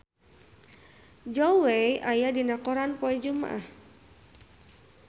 Zhao Wei aya dina koran poe Jumaah